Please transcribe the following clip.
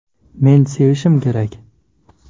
Men sevishim kerak”.